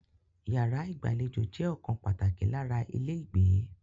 Yàrá ìgbàlejò jẹ́ ọ̀kan pàtàkì lára ilé ìgbé.